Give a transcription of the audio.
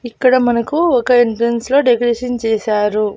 ఇక్కడ మనకు ఒక ఎంట్రన్స్ లో డెకరేషన్ చేశారు.